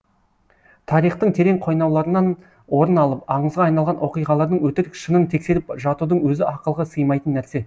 тарихтың терең қойнауларынан орын алып аңызға айналған оқиғалардың өтірік шынын тексеріп жатудың өзі ақылға сыймайтын нәрсе